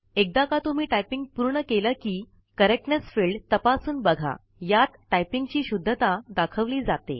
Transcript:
एकदा का तुम्हीं टाइपिंग पूर्ण केले कि correctness फिल्ड तपासून बघा यात टाइपिंग ची शुद्धता दाखेवली जाते